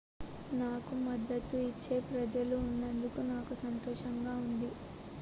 నాకు మద్దతు ఇచ్చే ప్రజలు ఉన్నందకు నాకు సంతోషంగా ఉంది